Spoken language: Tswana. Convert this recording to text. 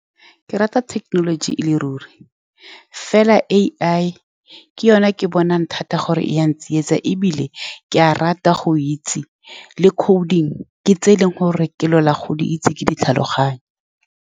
Ke rata technology e le ruri, mme fela A_I ke yone ke bonang thata gore e ya ntsietsa. Ebile ke a rata go itse le coding, ke tse e leng gore ke lwela go di itse, ke ditlhaloganye.